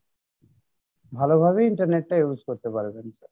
ভালো ভাবে internet টা use করতে পারবেন sir